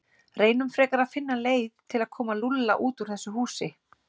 Reynum frekar að finna leið til að koma Lúlla út úr þessu húsi.